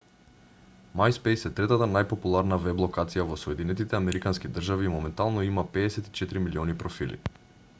myspace е третата најпопуларна веб-локација во соединетите американски држави и моментално има 54 милиони профили